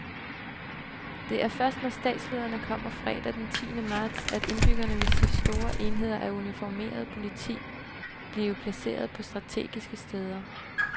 Det er først, når statslederne kommer fredag den tiende marts, at indbyggerne vil se store enheder af uniformeret politi blive placeret på strategiske steder.